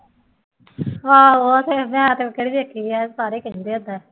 ਆਹੋ ਉਹ ਤੇ ਦੇਖੀ ਹੈ ਸਾਰੇ ਕਹਿੰਦੇ ਆ ਏਦਾਂ